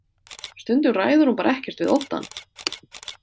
Stundum ræður hún bara ekkert við óttann.